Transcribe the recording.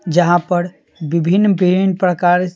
जहां पर विभिन्न विभिन्न प्रकार--